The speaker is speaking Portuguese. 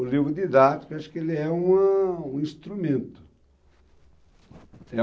O livro didático, acho que ele é uma um instrumento.